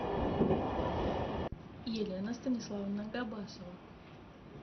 елена станиславовна габасова